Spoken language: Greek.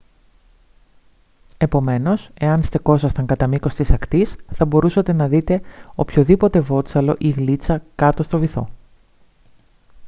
επομένως εάν στεκόσασταν κατά μήκος της ακτής θα μπορούσατε να δείτε οποιοδήποτε βότσαλο ή γλίτσα κάτω στον βυθό